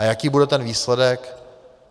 A jaký bude ten výsledek?